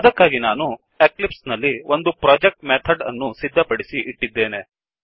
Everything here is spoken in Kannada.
ಅದಕ್ಕಾಗಿ ನಾನು ಎಕ್ಲಿಪ್ಸ್ ನಲ್ಲಿ ಒಂದು ಪ್ರೊಜೆಕ್ಟ್ ಮೆಥಡ್ ಅನ್ನು ಸಿದ್ಧಪಡಿಸಿ ಇಟ್ಟಿದ್ದೇನೆ